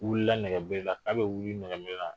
U wilila nɛgɛberela, ka bɛ wuli nɛgɛberela